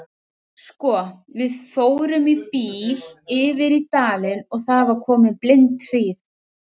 Sko, við fórum í bíl yfir í dalinn og það var komin blindhríð.